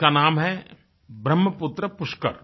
जिसका नाम है ब्रहमपुत्र पुष्कर